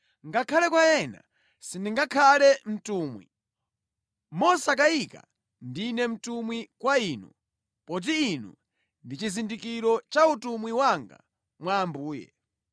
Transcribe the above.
Ngakhale kwa ena sindingakhale mtumwi, mosakayika ndine mtumwi kwa inu! Poti inu ndi chizindikiro cha utumwi wanga mwa Ambuye.